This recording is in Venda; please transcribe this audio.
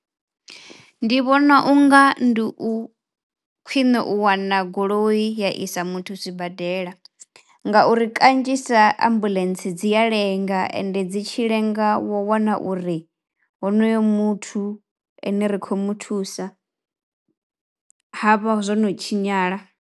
Ndi vhona unga ndi u khwiṋe u wana goloi ya isa muthu sibadela ngauri kanzhisa ambuḽentse dzi a lenga ende dzi tshi lenga u wana uri honoyo muthu ene ri khou muthusa ha vha zwo no tshinyala.